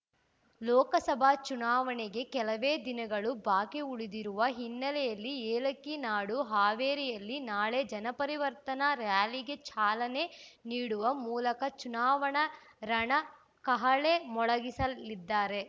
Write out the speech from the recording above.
ಲೋಕಸಭಾ ಚುನಾವಣೆಗೆ ಕೆಲವೇ ದಿನಗಳು ಬಾಕಿ ಉಳಿದಿರುವ ಹಿನ್ನೆಲೆಯಲ್ಲಿ ಏಲಕ್ಕಿ ನಾಡು ಹಾವೇರಿಯಲ್ಲಿ ನಾಳೆ ಜನಪರಿವರ್ತನಾ ರ‍್ಯಾಲಿಗೆ ಚಾಲನೆ ನೀಡುವ ಮೂಲಕ ಚುನಾವಣಾ ರಣಕಹಳೆ ಮೊಳಗಿಸಲಿದ್ದಾರೆ